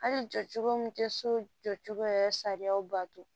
Hali jɔcogo min tɛ so jɔ cogo yɛrɛ sariyaw bato